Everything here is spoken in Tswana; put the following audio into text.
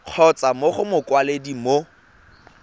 kgotsa mo go mokwaledi mo